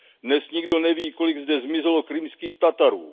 Dnes nikdo neví, kolik zde zmizelo Krymských Tatarů.